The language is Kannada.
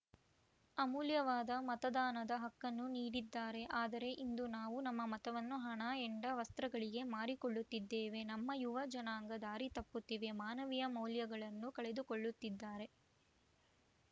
ಅಮೂಲ್ಯವಾದ ಮತದಾನದ ಹಕ್ಕನ್ನು ನೀಡಿದ್ದಾರೆ ಆದರೆ ಇಂದು ನಾವು ನಮ್ಮ ಮತವನ್ನು ಹಣ ಹೆಂಡ ವಸ್ತ್ರಗಳಿಗೆ ಮಾರಿಕೊಳ್ಳುತ್ತಿದ್ದೇವೆ ನಮ್ಮ ಯುವ ಜನಾಂಗ ದಾರಿ ತಪ್ಪುತ್ತಿವೆ ಮಾನವೀಯ ಮೌಲ್ಯಗಳನ್ನು ಕಳೆದುಕೊಳ್ಳುತ್ತಿದ್ದಾರೆ